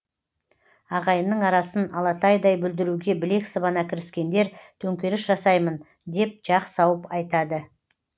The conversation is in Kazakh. ағайынның арасын алатайдай бүлдіруге білек сыбана кіріскендер төңкеріс жасаймын деп жақ сауып айтады